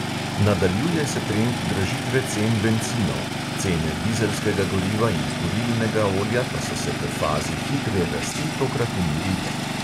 Nadaljuje se trend dražitve cen bencinov, cene dizelskega goriva in kurilnega olja pa so se po fazi hitre rasti tokrat umirile.